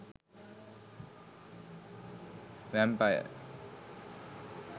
vampire